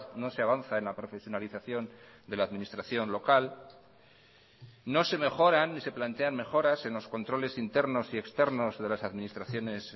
no se avanza en la profesionalización de la administración local no se mejoran ni se plantean mejoras en los controles internos y externos de las administraciones